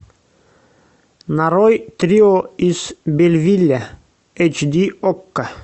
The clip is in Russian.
нарой трио из бельвилля эйч ди окко